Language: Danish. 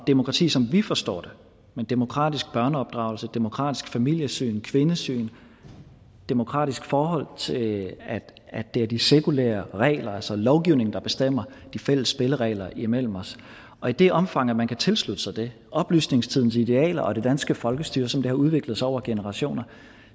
demokrati som vi forstår det med demokratisk børneopdragelse demokratisk familiesyn kvindesyn demokratisk i forhold til at det er de sekulære regler altså lovgivningen der bestemmer de fælles spilleregler imellem os og i det omfang man kan tilslutte sig det oplysningstidens idealer og det danske folkestyre som det har udviklet sig over generationer